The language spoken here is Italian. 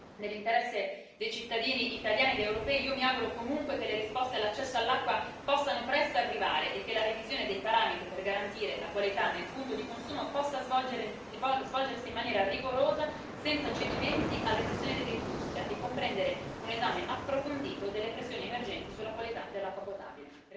Nell'interesse dei cittadini italiani ed europei, io mi auguro comunque che le risposte all'accesso all'acqua possano presto arrivare e che la revisione dei parametri per garantire la qualità nel punto di consumo possa svolgersi in maniera rigorosa, senza cedimenti alle pressioni dell'industria e comprendere un esame approfondito delle pressioni emergenti sulla qualità dell'acqua potabile.